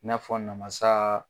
N'a fɔ namasa